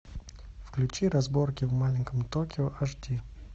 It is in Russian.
включи разборки в маленьком токио аш ди